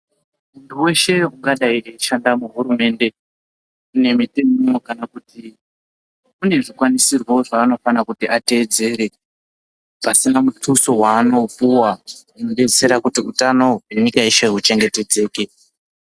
Weshe angadai eishanda muhurumende nemitemo kana kuti kune zvikwanisirwo zvavanofanira kuti ateedzere asina mutuso waanopuwa unodetsera kuti utano hwenyika yeshe huchengetedzeke .